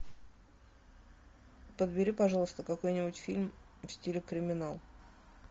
подбери пожалуйста какой нибудь фильм в стиле криминал